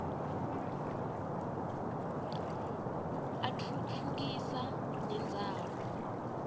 atfutfukisa nendzawo